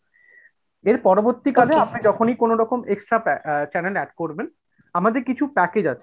এর পরবর্তী কালে আপনি যখনি কোন extra pay uh channel add করবেন আমাদের কিছু package আছে,